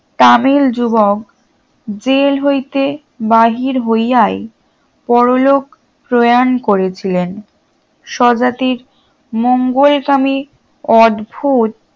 তামিল যুবক জেল হইতে বাহির হইয়াই পরলোক প্রয়ান করেছিলেন স্বজাতির মঙ্গলকামী অদ্ভুত